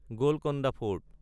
Golconda fort